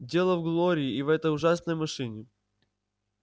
дело в глории и в этой ужасной машине